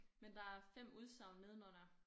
Men der er 5 udsagn nedenunder